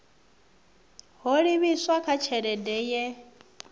ho livhiswa kha tshelede ye